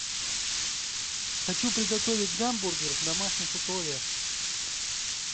хочу приготовить гамбургер в домашних условиях